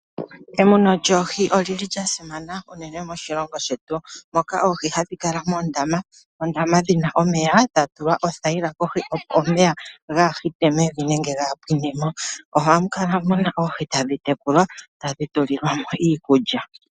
Emuno lyoohi olili lya simana unene moshilongo shetu moka oohi hadhi kala moondama, oondama dhina omeya dha tulwa oothayila kohi opo omeya kaga hite mevi nenge kaga pwine mo. Ohamu kala muna oohi tadhi tekulwa tadhi tulilwa mo iikulya.